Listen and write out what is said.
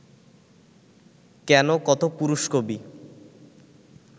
কেন, কত পুরুষ-কবি